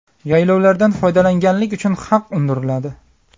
Yaylovlardan foydalanganlik uchun haq undiriladi.